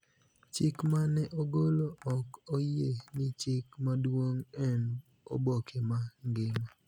Chik ma ne ogolo ok oyie ni chik maduong� en oboke ma ngima .